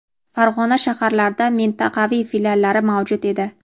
Farg‘ona shaharlarida mintaqaviy filiallari mavjud edi.